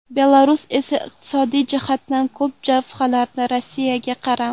Belarus esa iqtisodiy jihatdan ko‘p jabhalarda Rossiyaga qaram.